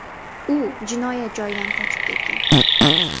U jinoyat joyidan qochib ketgan.